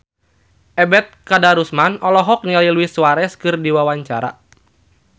Ebet Kadarusman olohok ningali Luis Suarez keur diwawancara